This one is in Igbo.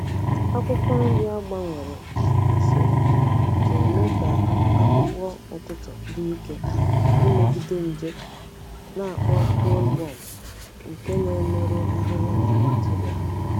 Akwụkwọ nri a gbanwere usoro ji eme ka akpụkpọ ụtụtụ dị ike imegide nje na-akpọ bollworm nke na-emerụ ahịhịa na Nigeria.